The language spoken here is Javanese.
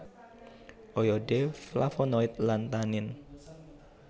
Oyode flavonoid lan tanin